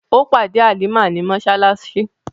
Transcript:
Ó pàdé Halimah ní mọ́ṣáláṣí.